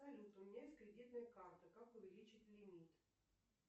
салют у меня есть кредитная карта как увеличить лимит